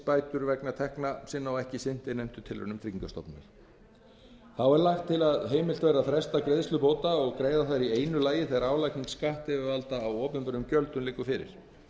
bætur vegna tekna sinna og ekki sinnt innheimtutilraunum tryggingastofnunar þá er lagt til að heimilt verði að fresta greiðslu bóta og greiða þær í einu lagi þegar álagning skattyfirvalda á opinberum gjöldum liggur fyrir